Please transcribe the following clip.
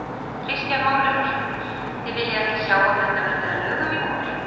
Kristján Már Unnarsson: Þið viljið ekki sjá að þetta verði að lögum í vor?